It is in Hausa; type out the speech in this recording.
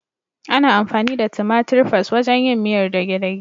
Ana amfani da tumatir fas (tomato paste) wajen yin miyar dage-dage.